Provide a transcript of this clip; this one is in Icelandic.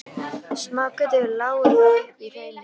Smágötur lágu þó upp í hraunið.